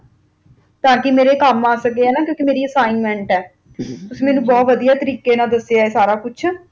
ਤਾਕਿ ਮੇਰੇ ਕੰਮ ਆ ਸਕੇ ਕਿਉਕਿ ਮੇਰੀ Assignment ਹੈ ਮੈਨੂੰ ਬੋਥ ਵਾਦੀਆਂ ਤਰੀਕੇ ਨਾਲ ਦਸ ਹੈ ਤੁਸੀ ਸਬ ਕੁਜ